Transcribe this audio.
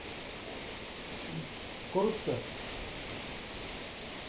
мм коррупция